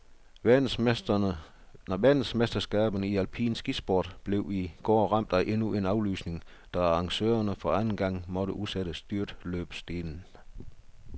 Verdensmesterskaberne i alpin skisport blev i går ramt af endnu en aflysning, da arrangørerne for anden gang måtte udsætte styrtløbsdelen.